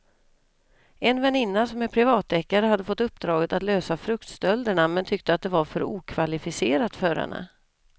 En väninna som är privatdeckare hade fått uppdraget att lösa fruktstölderna men tyckte att det var för okvalificerat för henne.